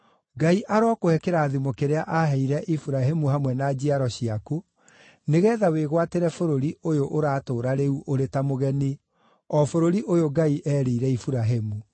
Ngai arokũhe kĩrathimo kĩrĩa aaheire Iburahĩmu hamwe na njiaro ciaku, nĩgeetha wĩgwatĩre bũrũri ũyũ ũratũũra rĩu ũrĩ ta mũgeni, o bũrũri ũyũ Ngai eerĩire Iburahĩmu.”